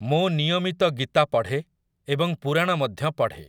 ମୁଁ ନିୟମିତ ଗୀତା ପଢ଼େ ଏବଂ ପୁରାଣ ମଧ୍ୟ ପଢ଼େ ।